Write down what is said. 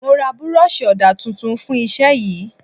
Mo ra buroosi ọdà tuntun fún Iṣẹ́ yìí.